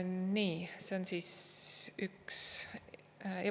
Nii see on üks.